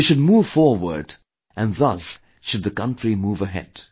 You should move forward and thus should the country move ahead